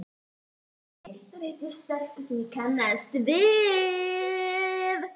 Í Höllinni hitti ég stelpu sem ég kannaðist við.